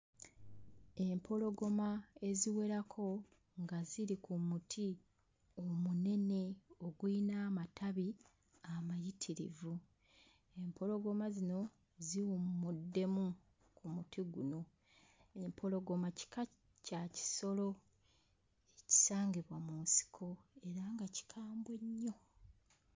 Empologoma eziwerako nga ziri ku muti omunene ogulina amatabi amayitirivu. Empologoma zino ziwummuddemu mu muti guno. Empologoma kika kya kisolo ekisangibwa mu nsiko naye nga kikambwe nnyo.